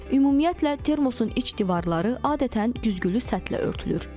Ümumiyyətlə termosun iç divarları adətən güzgülü səthlə örtülür.